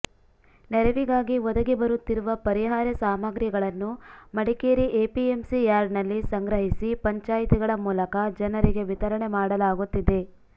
ನೆರವಿಗಾಗಿ ಒದಗಿ ಬರುತ್ತಿರುವ ಪರಿಹಾರ ಸಾಮಗ್ರಿಗಳನ್ನು ಮಡಿಕೇರಿ ಎಪಿಎಂಸಿ ಯಾರ್ಡ್ನಲ್ಲಿ ಸಂಗ್ರಹಿಸಿ ಪಂಚಾಯತಿಗಳ ಮೂಲಕ ಜನರಿಗೆ ವಿತರಣೆ ಮಾಡಲಾಗುತ್ತಿದೆ